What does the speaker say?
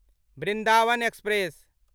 Vrindavan express